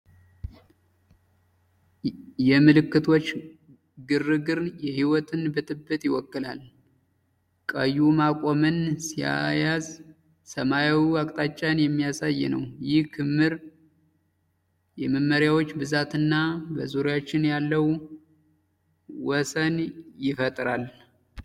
የምልክቶች ግርግር የሕይወትን ብጥብጥ ይወክላል! ቀዩ ማቆምን ሲያዝ፣ ሰማያዊው አቅጣጫን የሚያሳይ ነው። ይህ ክምር የመመሪያዎች ብዛትና በዙሪያችን ያለው ወስን ይፈጥራል።